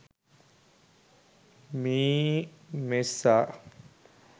meemessa